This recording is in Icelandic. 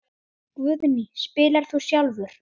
Guðný: Spilar þú sjálfur?